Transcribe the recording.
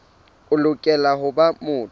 o lokela ho ba motho